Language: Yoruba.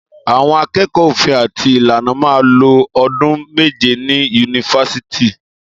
Àwón àkẹkọ òfin àti ìlànà mà lo òdún mẹjẹ ni unífàsítì